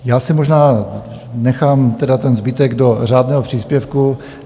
Já si možná nechám tedy ten zbytek do řádného příspěvku.